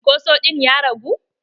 Cunkoso ɗin ya ragu?